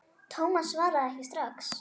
Thomas svaraði ekki strax.